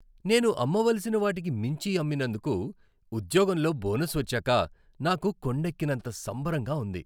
నేను అమ్మవలసిన వాటికి మించి అమ్మినందుకు ఉద్యోగంలో బోనస్ వచ్చాక నాకు కొండెక్కినంత సంబరంగా ఉంది.